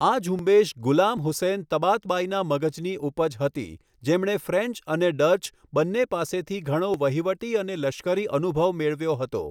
આ ઝુંબેશ ગુલામ હુસૈન તબાતબાઈના મગજની ઉપજ હતી, જેમણે ફ્રેન્ચ અને ડચ બંને પાસેથી ઘણો વહીવટી અને લશ્કરી અનુભવ મેળવ્યો હતો.